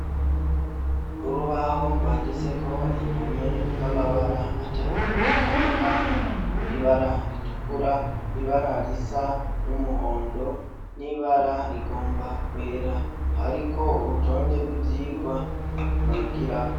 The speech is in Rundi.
Urubaho rwanditseko indome n'amabara atatu atandukanye ,ibara ritukura ibara risa n'umuhondo n'ibara rigomba kwera ,hariko urutonde rw'ivyigwa bigirako.